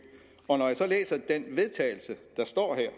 og når jeg så læser det forslag vedtagelse der står her